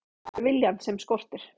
Það er viljann sem skortir.